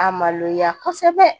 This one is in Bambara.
A maloya kosɛbɛ